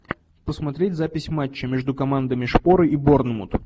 посмотреть запись матча между командами шпоры и борнмут